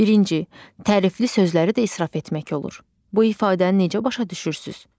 Birinci, tərifli sözləri də israf etmək olur, bu ifadəni necə başa düşürsüz?